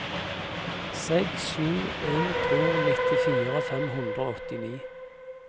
seks sju en to nittifire fem hundre og åttini